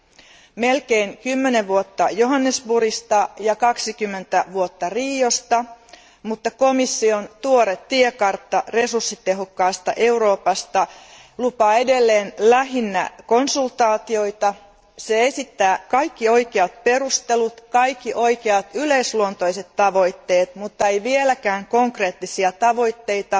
Nyt on kulunut melkein kymmenen vuotta Johannesburgista ja 20 vuotta Riosta, mutta komission tuoreessa tiekartassa resurssitehokkaasta Euroopasta luvataan edelleen lähinnä konsultaatioita. Siinä esitetään kaikki oikeat perustelut, kaikki oikeat yleisluonteiset tavoitteet, muttei vieläkään konkreettisia tavoitteita